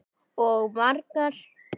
Og margar.